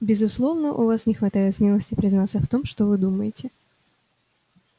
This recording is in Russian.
безусловно у вас не хватает смелости признаться в том что вы думаете